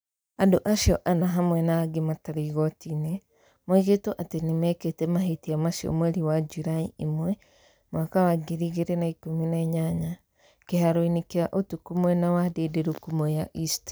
Andũ acio ana hamwe na angĩ matarĩ igoti-inĩ, moigĩtwo atĩ nĩ mekĩte mahĩtia macio mweri wa Julaĩ 1, 2018, kĩharo-inĩ kĩa ũtukũ mwena wa Ndindiruku, Mwea East.